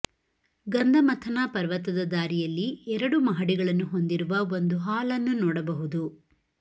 ಗಂಧಮಥನ ಪರ್ವತದ ದಾರಿಯಲ್ಲಿ ಎರಡು ಮಹಡಿಗಳನ್ನು ಹೊಂದಿರುವ ಒಂದು ಹಾಲ್ ನ್ನು ನೋಡಬಹುದು